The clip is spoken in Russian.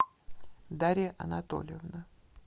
дарья анатольевна